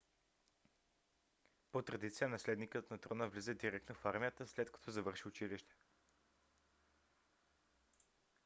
по-традиция наследникът на трона влиза директно в армията след като завърши училище